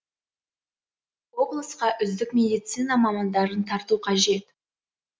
облысқа үздік медицина мамандарын тарту қажет